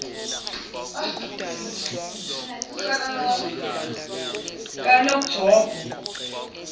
kanongjombo